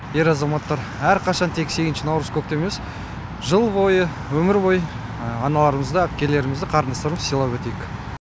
ер азаматтар әрқашан тек сегізінші наурыз көктем емес жыл бойы өмір бойы аналарымызды әпкелерімізді қарындастарымызды сыйлап өтейік